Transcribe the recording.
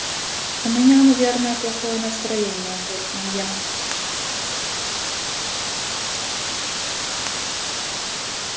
у меня наверное плохое настроение буркнул я